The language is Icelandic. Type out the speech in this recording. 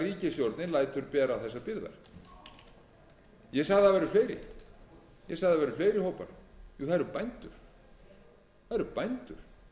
ríkisstjórnin lætur bera þessar byrðar ég sagði að það væru fleiri hópar jú það eru bændur